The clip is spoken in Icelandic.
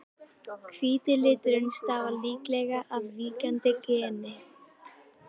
Hvíti liturinn stafar líklega af víkjandi geni.